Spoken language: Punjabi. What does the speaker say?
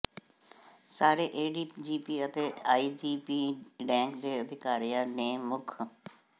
ਸਾਰੇ ਏਡੀਜੀਪੀ ਅਤੇ ਆਈਜੀਪੀ ਰੈਂਕ ਦੇ ਅਧਿਕਾਰੀਆਂ ਨੇ ਮੁੱਖ